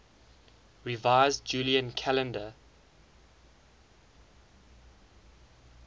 revised julian calendar